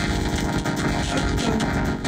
октан